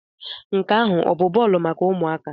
Nke ahụ ọ bụ bọọlụ maka ụmụaka?